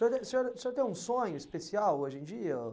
O senhor, o senhor, o senhor tem um sonho especial hoje em dia?